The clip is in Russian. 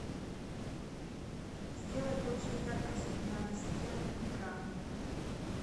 сделай больше яркость на настенных бра